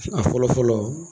A fɔlɔfɔlɔ.